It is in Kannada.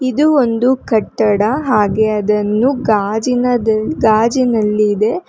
ಇದು ಒಂದು ಕಟ್ಟಡ ಹಾಗೆ ಅದನ್ನು ಗಾಜಿನದಿ ಗಾಜಿನಲ್ಲಿದೆ.